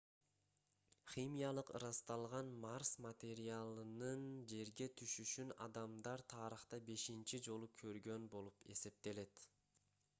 химиялык ырасталган марс материалынын жерге түшүшүн адамдар тарыхта бешинчи жолу көргөн болуп эсептелет